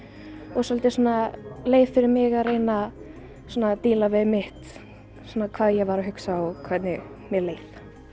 og svolítið svona leið fyrir mig að reyna að díla við mitt svona hvað ég var að hugsa og hvernig mér leið